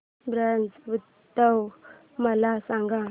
ब्रज उत्सव मला सांग